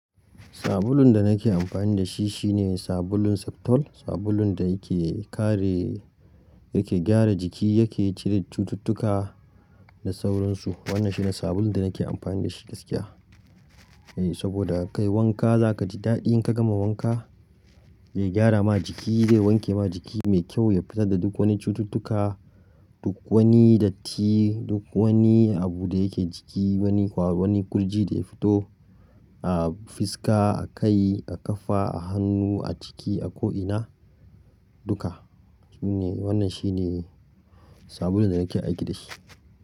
Sabulun da nake amfani da shi shine sabulun Septol, sabulun da yake kare, yake gyara jiki, yake cire cututtuka da sauransu. Wannan shine sabulun da nake amfani da shi gaskiya. Eh, saboda ka yi wanka za ka ji daɗi in ka gama wanka. Zai gyara ma jiki, zai wanke ma jiki mai kyau, ya fitar da duk wani cututtuka, duk wani datti, duk wani abu da yake jiki, wani ƙwaro, wani ƙurji da ya fito a fiska, a kai, a ƙafa, a hannu, a ciki, a ko'ina, duka. Wannan shine sabulun da nake aiki da shi.